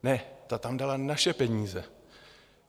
Ne, ta tam dala naše peníze.